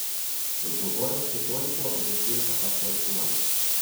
Z odgovornostjo toliko, brez nje pa pač toliko manj.